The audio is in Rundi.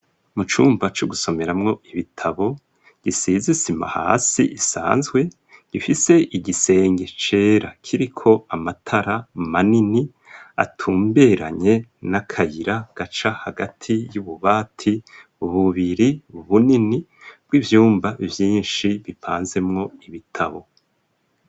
Mu cumba co gusomera mwo ibitabo ,gisize Isima hasi, isanzwe ,gifise igisenge cera kiriko Amatara manini ,atumberanye n'akayira gaca hagati y'ububati bububiri bunini ,bw'ivyumba Vyinshi, bipanze mwo ibitabo.